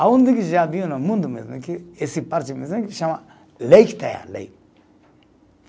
Aonde que já viu no mundo mesmo, lei.